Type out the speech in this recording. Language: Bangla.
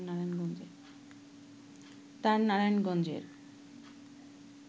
তার নারায়ণগঞ্জের